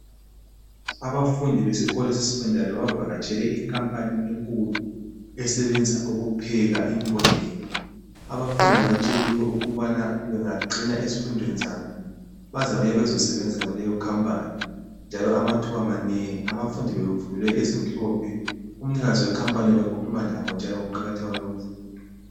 Abafundi besikolo seSekhondari bavakatshele inkampani enkulu esebenza ukupheka imbodlela. Abafundi batsheliwe ukubana bengaqina ezifundweni zabo bazabuya bezosebenza kuleyo khampani njalo amathuaba manengi. Abafundi bebevunyelwe ezimhlophe. UMnikazi wekhampani ubekhuluma labo njalo ngokuqakatheka kwemfundo.